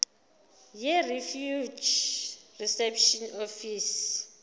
yirefugee reception office